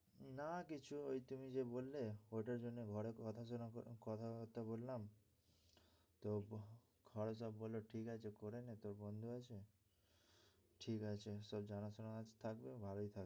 না কিছু ওই তুমি যে বললে ওইটার জন্য ঘরে কথা কথা বার্তা বললাম। তো ঘরে সব বলল ঠিক আছে, করে নে তোর বন্ধু আছে। ঠিক আছে তোর জানা শোনা থাকবে ভালই থাকবে।